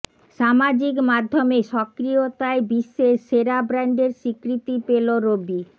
সামাজিক মাধ্যমে সক্রিয়তায় বিশ্বের সেরা ব্র্যান্ডের স্বীকৃতি পেল রবি